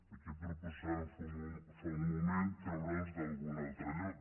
aquí proposàvem fa un moment treure’ls d’algun altre lloc